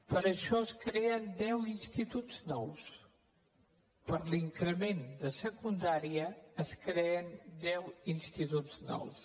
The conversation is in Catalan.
per això es creen deu instituts nous per l’increment de secundària es creen deu instituts nous